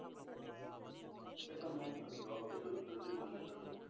ਫਿਰ ਤੁਹਾਨੂੰ ਤੁਹਾਡੀ job 'ਚ ਉਸ ਤਰ੍ਹਾਂ ਦੀ ਮਾਨਤਾ ਦਓ,